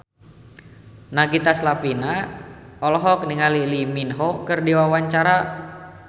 Nagita Slavina olohok ningali Lee Min Ho keur diwawancara